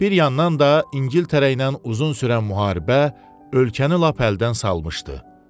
Bir yandan da İngiltərə ilə uzun sürən müharibə ölkəni lap əldən salmışdı.